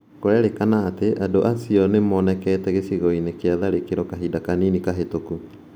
Kũrerekana atĩ andũ acia ana nĩ monekete gĩcigo-inĩ kĩa tharĩkĩro kahinda kanini kahĩtũku.